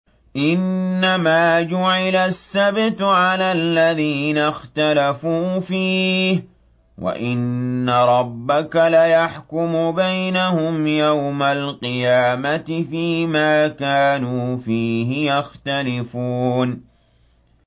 إِنَّمَا جُعِلَ السَّبْتُ عَلَى الَّذِينَ اخْتَلَفُوا فِيهِ ۚ وَإِنَّ رَبَّكَ لَيَحْكُمُ بَيْنَهُمْ يَوْمَ الْقِيَامَةِ فِيمَا كَانُوا فِيهِ يَخْتَلِفُونَ